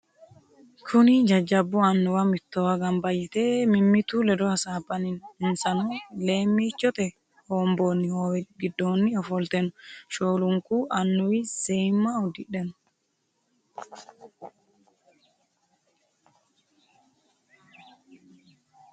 Kunni jajabu annuwa mittowa gamba yite mimitu ledo hasaabanni no. Insano leemiichote hoomboonni hoowe gidoonni ofolte no. Shoolunku annuwi Seemma udidhe no.